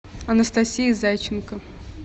анастасия зайченко